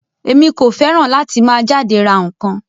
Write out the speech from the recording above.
Emi ko fẹràn láti máa jáde rà nkan.